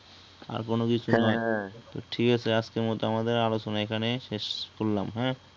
আর কোনো কিছুই না হ্যা হ্যা তো ঠিকাছে আজকের মতো আমাদের আলোচনা এখানেই শেষ করলাম হ্যা?